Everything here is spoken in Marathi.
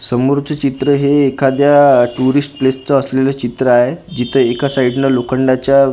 समोरच चित्र हे एखाद्या टुरिस्ट प्लेस चं असलेलं चित्र आहे जिथं एका साईडनं लोखंडाच्या--